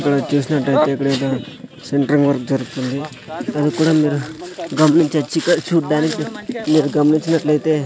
ఇక్కడ చూసిన్నట్టైతే ఇక్కడైతే సెంట్రింగ్ వర్క్ జరుగుతుంది దాని కూడా మీరు గమనించొచ్చు ఇక్కడ్ చూడ్డానికి మీరు గమనించినట్లైతే--